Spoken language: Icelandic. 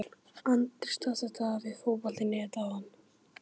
Andri staðfesti þetta við Fótbolta.net áðan.